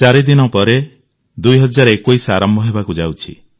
ଚାରିଦିନ ପରେ 2021 ଆରମ୍ଭ ହେବାକୁ ଯାଉଛି